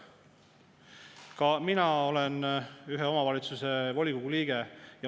Ka mina olen ühe omavalitsuse volikogu liige.